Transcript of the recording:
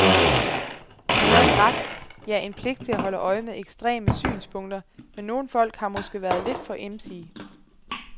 De havde en ret, ja en pligt til at holde øje med ekstreme synspunkter, men nogle folk har måske været lidt for emsige.